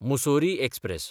Mussoorie express